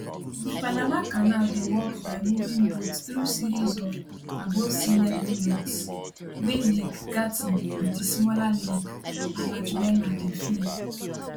di panama canal dey work by moving boats through series of abovesealevel locks wey lake gatn and di smaller lake alajuela dey feed